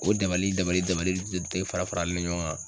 O dabali dabali dabali de de te fara farali ɲɔgɔn kan.